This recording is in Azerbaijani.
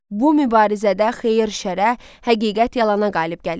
Bu mübarizədə xeyir şərrə, həqiqət yalana qalib gəlir.